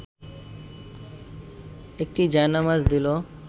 একটি জায়নামাজ দিল